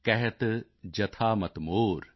ਕਹਤ ਜਥਾ ਮਤਿ ਮੋਰ